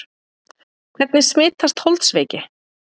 Hvernig smitast holdsveiki?